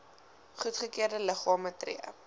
goedgekeurde liggame tree